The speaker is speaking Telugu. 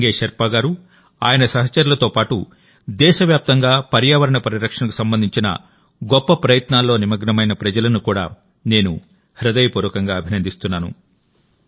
సంగే షెర్పా గారు ఆయన సహచరులతో పాటుదేశవ్యాప్తంగా పర్యావరణ పరిరక్షణకు సంబంధించిన గొప్ప ప్రయత్నాల్లో నిమగ్నమైన ప్రజలను కూడా నేను హృదయపూర్వకంగా అభినందిస్తున్నాను